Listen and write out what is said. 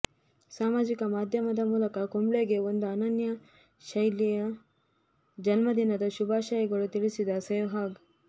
ಸಾಮಾಜಿಕ ಮಾಧ್ಯಮದ ಮೂಲಕ ಕುಂಬ್ಳೆಗೆ ಒಂದು ಅನನ್ಯ ಶೈಲಿಯ ಜನ್ಮದಿನದ ಶುಭಾಶಯ ತಿಳಿಸಿದ ಸೆಹ್ವಾಗ್